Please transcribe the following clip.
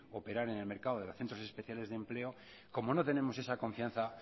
operar en el mercado de centros especiales de empleo como no tenemos esa confianza